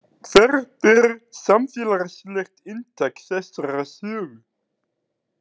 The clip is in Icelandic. Hvert er samfélagslegt inntak þessarar sögu?